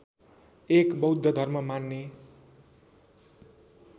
एक बौद्ध धर्म मान्ने